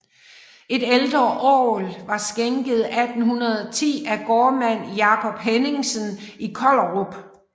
Et ældre orgel var skænket 1810 af gårdmand Jacob Henningsen i Kollerup